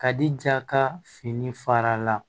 Ka di ja ka fini fara la